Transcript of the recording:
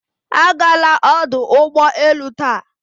Agala ọdụ ụgbọ elu taa!